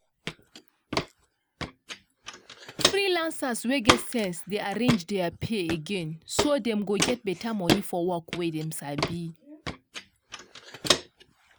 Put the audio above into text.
freelancers wey get sense dey arrange their pay again so dem go get beta money for work wey dem sabi.